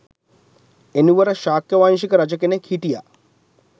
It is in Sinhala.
එනුවර ශාක්‍ය වංශික රජ කෙනෙක් හිටියා